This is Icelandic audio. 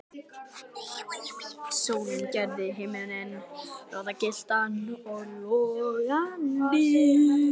Sólin gerði himininn roðagylltan og logandi.